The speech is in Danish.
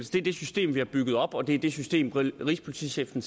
det er det system vi har bygget op og det er det system rigspolitichefen